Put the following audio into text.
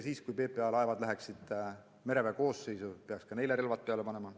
Ja kui PPA laevad läheksid mereväe koosseisu, peaks ka neile relvad peale panema.